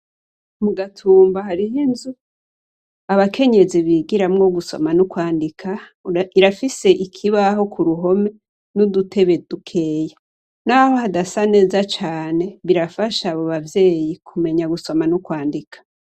Mu Gatumba hariho inzu abakenyezi bigiramwo gusoma no kwandika irafise ikibaho ku ruhome n'udutebe dukeya. Naho hadasa neza cane, birafasha abo bavyeyi kumenya gusoma no kwandika.